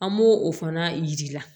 An b'o o fana jir'i la